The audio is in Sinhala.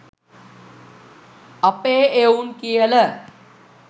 අපේ එවුන් කියල.